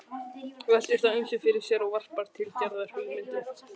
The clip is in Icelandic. Veltir þá ýmsu fyrir sér og varpar til Gerðar hugmyndum.